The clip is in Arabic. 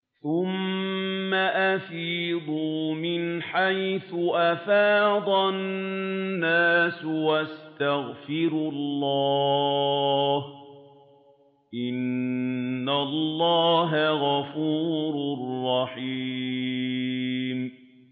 ثُمَّ أَفِيضُوا مِنْ حَيْثُ أَفَاضَ النَّاسُ وَاسْتَغْفِرُوا اللَّهَ ۚ إِنَّ اللَّهَ غَفُورٌ رَّحِيمٌ